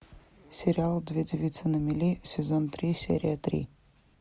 сериал две девицы на мели сезон три серия три